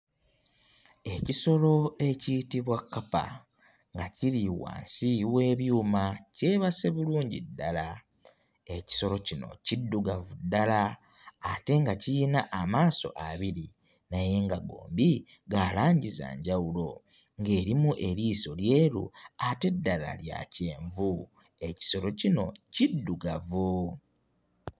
Ekisolo ekiyitibwa kkapa nga kiri wansi w'ebyuma kyebase bulungi ddala. Ekisolo kino kiddugavu ddala ate nga kiyina amaaso abiri naye nga gombi ga langi za njawulo ng'erimu eriiso lyeru ate eddala lya kyenvu, ekisolo kino kiddugavu.